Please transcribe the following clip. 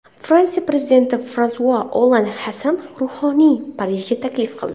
Fransiya prezidenti Fransua Olland Hasan Ruhoniyni Parijga taklif qildi.